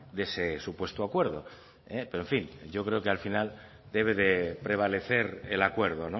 de ese supuesto acuerdo pero en fin yo creo que al final debe de prevalecer el acuerdo